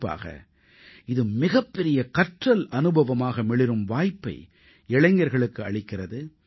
குறிப்பாக இது மிகப்பெரிய கற்றல் அனுபவமாக மிளிரும் வாய்ப்பை இளைஞர்களுக்கு அளிக்கிறது